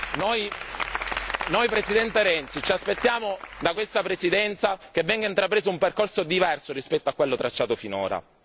Noi, Presidente Renzi, ci aspettiamo da questa presidenza che venga intrapreso un percorso diverso rispetto a quello tracciato finora.